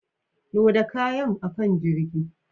Loda kayan a kan jirgin.